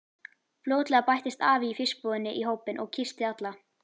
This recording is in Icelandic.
Fljótlega bættist afi í fiskbúðinni í hópinn og kyssti alla.